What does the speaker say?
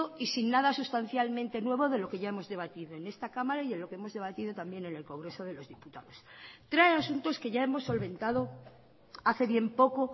y sin nada sustancialmente nuevo de lo que ya hemos debatido en esta cámara y en lo que hemos debatido también en el congreso de los diputados trae asuntos que ya hemos solventado hace bien poco